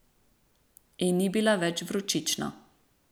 In ni bila več vročična.